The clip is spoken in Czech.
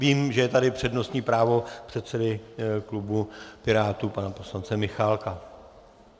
Vím, že je tady přednostní právo předsedy klubu Pirátů pana poslance Michálka.